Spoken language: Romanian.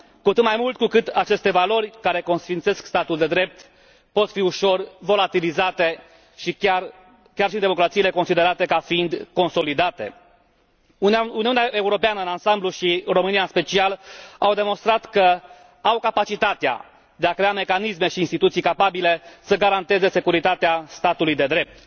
Cu atât mai mult cu cât aceste valori, care consfințesc statul de drept, pot fi ușor volatilizate și chiar și democrațiile considerate ca fiind consolidate. Uniunea Europeană în ansamblu și România, în special, au demonstrat că au capacitatea de a crea mecanisme și instituții capabile să garanteze securitatea statului de drept.